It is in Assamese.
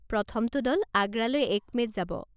প্ৰথমটো দল আগ্ৰালৈ এক মে'ত যাব।